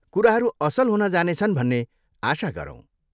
कुराहरू असल हुन जानेछन् भन्ने आशा गरौँ।